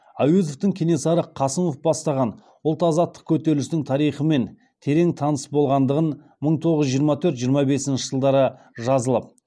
әуезовтін кенесары қасымов бастаған ұлт азаттық көтерілісінің тарихымен терең таныс болғандығын мың тоғыз жүз жиырма төрт жиырма бесінші жылдары жазылып